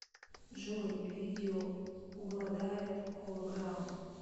джой видео обладает холограм